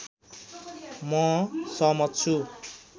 म सहमत छु